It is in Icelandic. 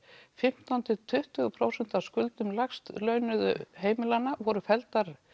fimmtán til tuttugu prósent af skuldum lægst launuðu heimilanna voru felldar